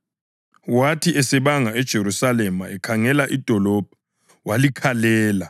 Wathi esebanga eJerusalema ekhangele idolobho, walikhalela